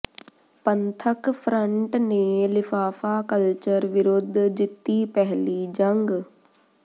ਪੰਥਕ ਫ਼ਰੰਟ ਨੇ ਲਿਫ਼ਾਫ਼ਾ ਕਲਚਰ ਵਿਰੁਧ ਜਿੱਤੀ ਪਹਿਲੀ ਜੰਗ